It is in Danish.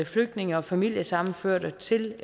flygtninge og familiesammenførte til